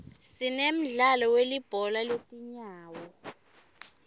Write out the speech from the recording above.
sinemdlalo wilibhola letinyawo